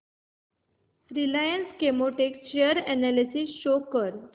Reliance Chemotex share analysis show कर